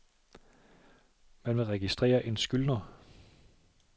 Man vil registrere en skyldner.